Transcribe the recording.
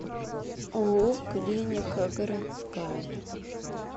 ооо клиника городская